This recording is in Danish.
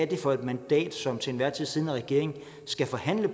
det er for et mandat som den til enhver tid siddende regering skal forhandle